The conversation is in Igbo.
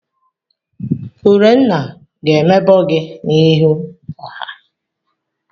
Urenna ga-emebọ gị n'ihu ọha.